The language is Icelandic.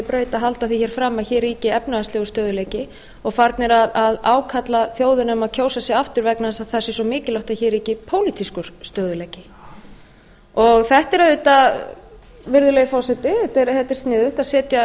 braut að halda því fram að hér ríki efnahagslegur stöðugleiki og farnir að ákalla þjóðina um að kjósa sig aftur vegna árs að það sé svo mikilvæga að hér ríki pólitískur stöðugleiki þetta er auðvitað virðulegi forseti þetta er sniðugt að